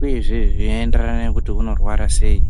uyezve zveienderana kuti unorwara ngei.